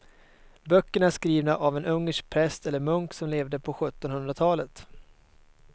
Böckerna är skrivna av en ungersk präst eller munk som levde på sjuttonhundratalet.